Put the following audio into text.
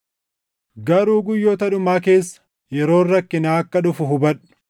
Garuu guyyoota dhumaa keessa yeroon rakkinaa akka dhufu hubadhu.